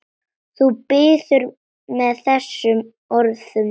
Þú biður með þessum orðum.